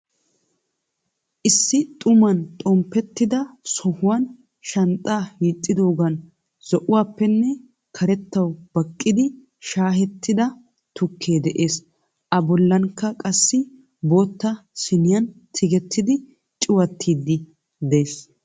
Issi xuuman xoompetida sohuwaan shanxxa hiixidogan zo'ouwaappe karetawu baaqidi shaa'ettida tuukke de'ees. A boollanikka qaasi bootta siniyaani tigeetiddi cuwaatidi de'ees.